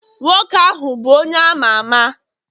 nwoke ahu bu onye ama ama?